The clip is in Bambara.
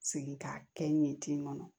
Sigi k'a kɛ n ye ten kɔnɔ